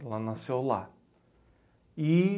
Ela nasceu lá. E